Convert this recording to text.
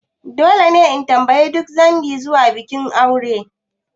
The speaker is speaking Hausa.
Dole ne in tambayi duk dangi zuwa bikin aure?